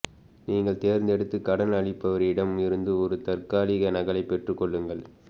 நீங்கள் தேர்ந்தெடுத்த கடன் அளிப்பவரிடம் இருந்து ஒரு தற்காலிக நகலைப் பெற்றுக் கொள்ளுங்கள்